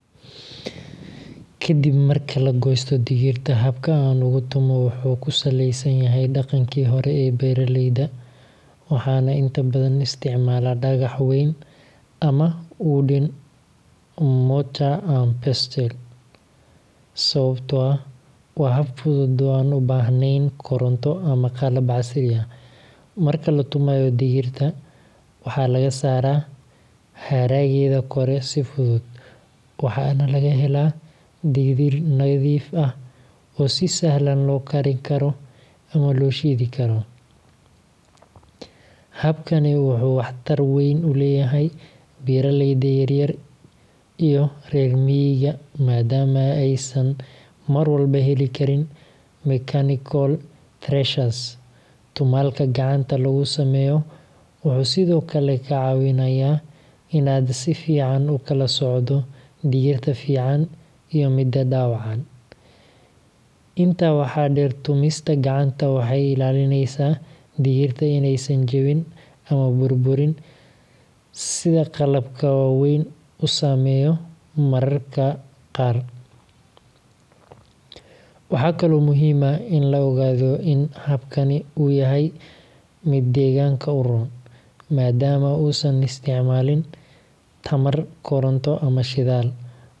Ka dib marka la goosto digirta, habka aan ugu tumo wuxuu ku saleysan yahay dhaqankii hore ee beeraleyda, waxaana inta badan isticmaalaa dhagax weyn ama wooden mortar and pestle, sababtoo ah waa hab fudud oo aan u baahnayn koronto ama qalab casri ah. Marka la tumayo digirta, waxaa laga saaraa haraggeeda kore si fudud, waxaana laga helaa digir nadiif ah oo si sahlan loo karin karo ama loo shiidi karo. Habkani wuxuu wax tar weyn u leeyahay beeraleyda yaryar iyo reer miyiga, maadaama aysan mar walba heli karin mechanical threshers. Tumaalka gacanta lagu sameeyo wuxuu sidoo kale kaa caawinayaa in aad si fiican u kala soocdo digirta fiican iyo midda dhaawacan. Intaa waxaa dheer, tumista gacanta waxay ilaalinaysaa digirta inaysan jabin ama burburin sida qalabka waaweyn u sameeyo mararka qaar. Waxaa kaloo muhiim ah in la ogaado in habkani uu yahay mid deegaanka u roon, maadaama uusan isticmaalin tamar koronto ama shidaal, wuxuuna sidoo kale.